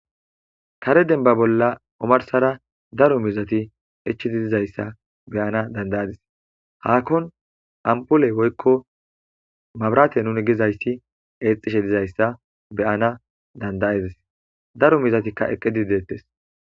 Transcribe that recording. Kare demba bollalor daro miizati oarsaso ichidi dettes hakon ampoley woykon maburate nuni gizaysi exishe izi dizaysa beyana danda'adis daro miizatika eqidi dettes